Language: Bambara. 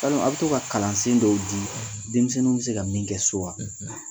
Yalima a' be to ka kalansen dɔw dii denmisɛnniw be se ka min kɛ so wa?